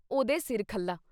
ਉਹਦੇ ਸਿਰ ਖੱਲਾ।